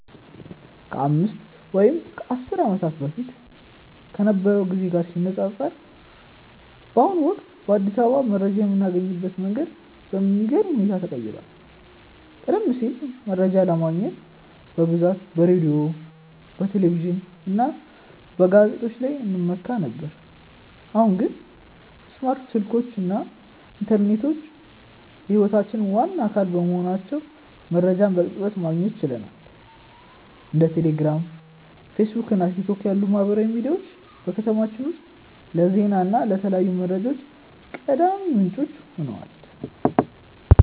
ከአምስት ወይም ከአስር ዓመታት በፊት ከነበረው ጊዜ ጋር ሲነፃፀር፣ በአሁኑ ወቅት በአዲስ አበባ መረጃ የምናገኝበት መንገድ በሚገርም ሁኔታ ተቀይሯል። ቀደም ሲል መረጃ ለማግኘት በብዛት በሬዲዮ፣ በቴሌቪዥን እና በጋዜጦች ላይ እንመካ ነበር፤ አሁን ግን ስማርት ስልኮች እና ኢንተርኔት የህይወታችን ዋና አካል በመሆናቸው መረጃን በቅጽበት ማግኘት ችለናል። እንደ ቴሌግራም፣ ፌስቡክ እና ቲክቶክ ያሉ ማህበራዊ ሚዲያዎች በከተማችን ውስጥ ለዜና እና ለተለያዩ መረጃዎች ቀዳሚ ምንጮች ሆነዋል።